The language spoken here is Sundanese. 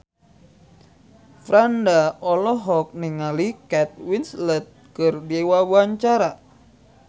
Franda olohok ningali Kate Winslet keur diwawancara